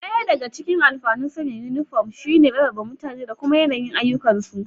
Ɗaya daga cikin alfanun sanya inifom shi ne rarrabe mutane da kuma yanayin ayyukansu